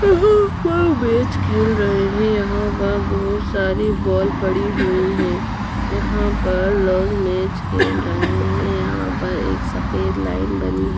यहां पर मैच खेल रहे हैं यहां पर बहोत सारी बाल पड़ी हुई हैं यहां पर लोग मैच खेल रहे हैं यहां पर एक साफेद लाइन बनी है।